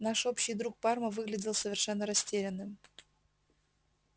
наш общий друг парма выглядел совершенно растерянным